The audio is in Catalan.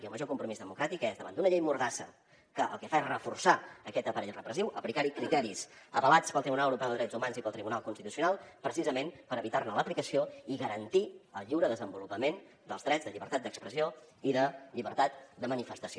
i el major compromís democràtic és davant d’una llei mordassa que el que fa és reforçar aquest aparell repressiu aplicar hi criteris avalats pel tribunal europeu de drets humans i pel tribunal constitucional precisament per evitar ne l’aplicació i garantir el lliure desenvolupament dels drets de llibertat d’expressió i de llibertat de manifestació